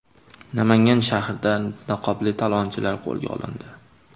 Namangan shahrida niqobli talonchilar qo‘lga olindi.